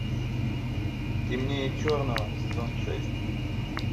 темнее черного сезон шесть